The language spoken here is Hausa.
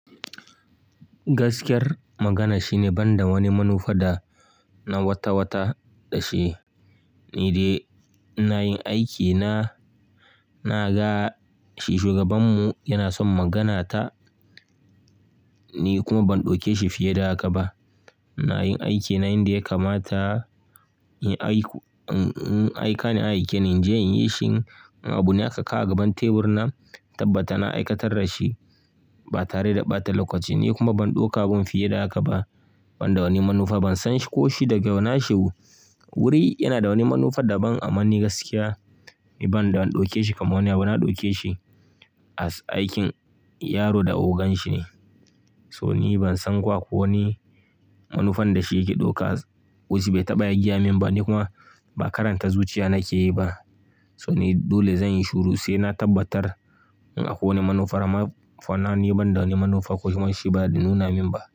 Gaskiyar magana shine ban da wani manufa da na wata-wata ɗashi, ni dai ina yin aikina. Na ga shi shugabanmu, yana son maganata, ni kuma ban ɗauke shi fiye da haka ba. Ina yin aikina inda ya kamata in haihu in in aika ne an aike ni a inje in yi shi. Abu na aka kawo agaban teburin nan, tabbata na aikatar da shi ba tare da ɓata lokaci ba, ni kuma ban ɗauka abun fiye da haka ba. Ban da wani manufa, ban san shi ko shi daga nashi wo. Wuri yana da wani manufa da ban aman ni gaskiya, ni ban da ɗauke shi kamar wani abu. Na ɗauke shi as aikin yaro da ogan shi ne. So ni ban san ko ako wani manufan da shi yake ɗauka, wai shi bai taɓa yagaya min ba, ni kuma ba karanta zuciya nake yi ba. So ni dole zan yi shuru sai na tabbatar in akwai wani manufa. Amma for now ni ban da wani manufa ko kuma shi ba ya nuna min ba.